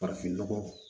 Farafinnɔgɔ